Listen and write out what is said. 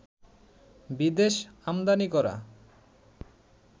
বিদেশ আমদানি করা